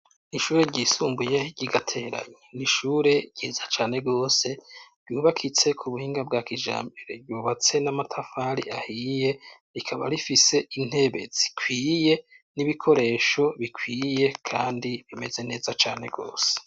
ishure ry' isumbuye ry'igateranye nishure ryiza cyane gose ryubakitse ku buhinga bwa kijambere yubatse n'amatafari ahiye rikaba rifise intebe zikwiye n'ibikoresho bikwiye kandi bimeze neza cyane gose.